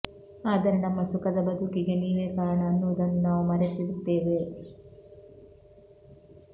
ಆದರೆ ನಮ್ಮ ಸುಖದ ಬದುಕಿಗೆ ನೀವೇ ಕಾರಣ ಅನ್ನುವುದನ್ನು ನಾವು ಮರೆತಿರುತ್ತೇವೆ